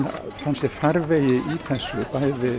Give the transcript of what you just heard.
fann sér farveg í þessu bæði